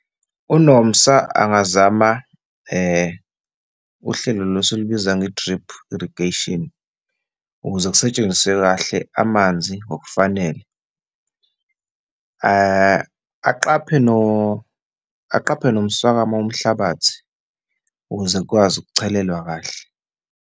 UNomsa angazama uhlelo lolu esilubiza nge-drip irrigation, ukuze kusetshenziswe kahle amanzi ngokufanele, aqaphe , aqaphe nomswakama womhlabathi ukuze kukwazi ukuchelelwa kahle.